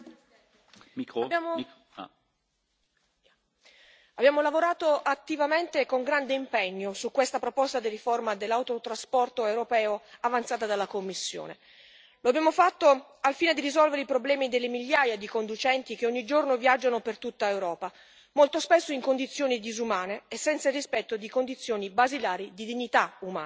Signor Presidente, onorevoli colleghi, abbiamo lavorato attivamente e con grande impegno su questa proposta di riforma dell'autotrasporto europeo avanzata dalla Commissione. Lo abbiamo fatto al fine di risolvere i problemi delle migliaia di conducenti che ogni giorno viaggiano per tutta Europa, molto spesso in condizioni disumane e senza il rispetto di condizioni basilari di dignità umana.